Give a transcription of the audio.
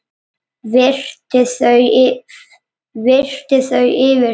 Virti þau fyrir sér.